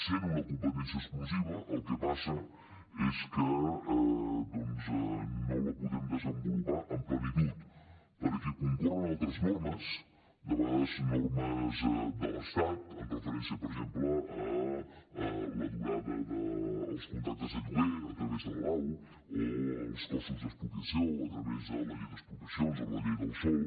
sent una competència exclusiva el que passa és que no la podem desenvolupar amb plenitud perquè concorren altres normes de vegades normes de l’estat amb referència per exemple a la durada dels contractes de lloguer a través de la lau o els costos d’expropiació a través de la llei d’expropiacions o de la llei del sòl